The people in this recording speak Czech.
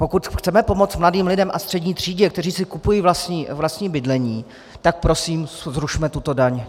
Pokud chceme pomoct mladým lidem a střední třídě, kteří si kupují vlastní bydlení, tak prosím zrušme tuto daň.